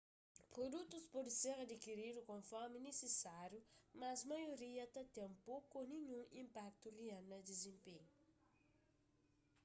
produtus pode ser adikiridu konformi nisisáriu mas maioria ta ten poku ô ninhun inpaktu rial na dizenpenhu